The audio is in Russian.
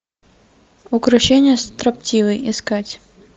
укрощение строптивой искать